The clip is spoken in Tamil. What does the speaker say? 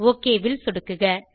ஒக் ல் சொடுக்குக